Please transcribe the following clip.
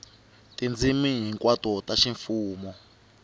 hi tindzimi hinkwato ta ximfumo